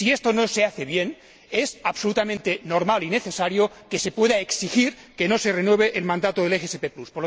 Si esto no se hace bien, es absolutamente normal y necesario que se pueda exigir que no se renueve el mandato del SGP Plus.